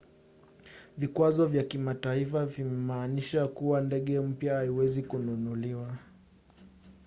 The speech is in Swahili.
vikwazo vya kimataifa vimemaanisha kuwa ndege mpya haiwezi kununuliwa